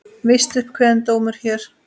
Víst upp kveðinn dómur hér.